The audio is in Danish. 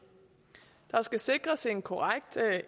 der skal sikres en korrekt